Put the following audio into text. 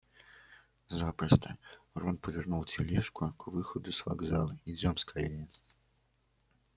запросто рон повернул тележку к выходу с вокзала идём скорее